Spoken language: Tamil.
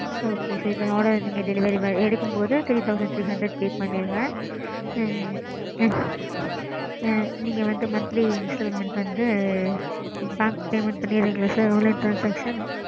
ok mam